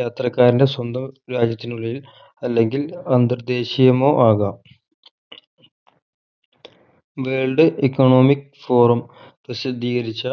യാത്രക്കാരൻ്റെ സ്വന്തം രാജ്യത്തിനുള്ളിൽ അല്ലെങ്കിൽ അന്തർ ദേശീയമോ ആകാം world economic forum പ്രസിദ്ധീകരിച്ച